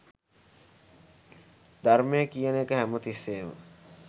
ධර්මය කියන එක හැම තිස්සේම